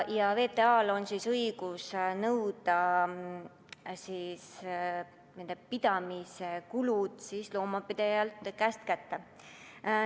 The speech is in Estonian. VTA‑l on õigus nõuda nende pidamise kulud loomapidajalt kätte.